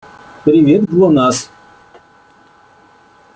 привет глонассс